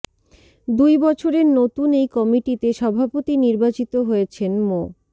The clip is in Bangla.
দুই বছরের নতুন এই কমিটিতে সভাপতি নির্বাচিত হয়েছেন মো